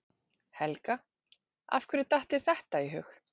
Helga: Af hverju datt þér þetta í hug?